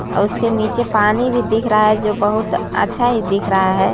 और उसके नीचे पानी भी दिख रहा है जो बहुत अच्छा ही दिख रहा है।